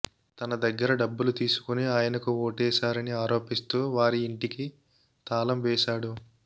తన దగ్గర డబ్బులు తీసుకుని ఆయనకు ఓటేశారని ఆరోపిస్తూ వారి ఇంటికి తాళం వేశాడు